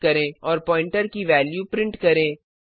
और pointer pointer की value print करें